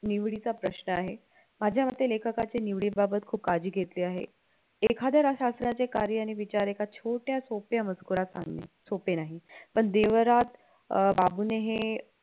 निवडीचा प्रश्न आहे माझ्या मते लेखकाचे निवडी बाबत खूप काळजी घेतली आहे एखाद्या शास्त्राचे कार्य आणि विचार एक अश्या छोट्या सोप्यामध्ये मजकुरात आणले सोपे नाही पण देवरात अं बाबूने हे